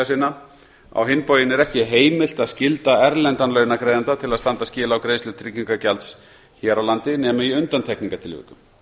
sinna á hinn bóginn er ekki heimilt að skylda erlendan launagreiðanda til að standa skil á greiðslu tryggingagjalds hér á landi nema í undantekningartilvikum